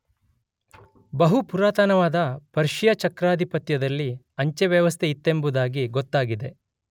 ಬಹು ಪುರಾತನವಾದ ಪರ್ಷಿಯ ಚಕ್ರಾಧಿಪತ್ಯದಲ್ಲಿ ಅಂಚೆ ವ್ಯವಸ್ಥೆಯಿತ್ತೆಂಬುದಾಗಿ ಗೊತ್ತಾಗಿದೆ.